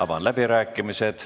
Avan läbirääkimised.